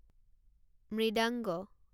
মৃদাংগা